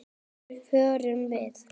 Hver vill eiga evrur?